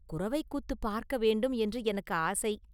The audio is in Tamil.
குரவைக் கூத்துப் பார்க்க வேண்டும் என்று எனக்கு ஆசை!